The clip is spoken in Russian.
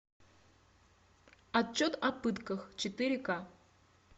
отчет о пытках четыре ка